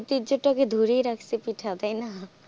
এই ঐতিহ্য এটাকে ধরে রাখছে পিঠা তাই না হ্যাঁ